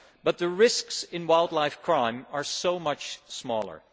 But the risks in wildlife crime are so much smaller.